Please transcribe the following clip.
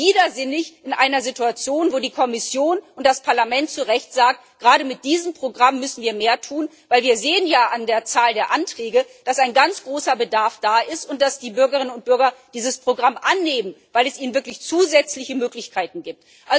Also wirklich widersinnig in einer Situation, wo die Kommission und das Parlament zu Recht sagen Gerade mit diesem Programm müssen wir mehr tun, denn wir sehen ja an der Zahl der Anträge, dass ein ganz großer Bedarf da ist und dass die Bürgerinnen und Bürger dieses Programm annehmen, weil es ihnen wirklich zusätzliche Möglichkeiten gibt.